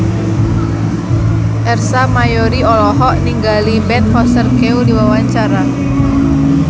Ersa Mayori olohok ningali Ben Foster keur diwawancara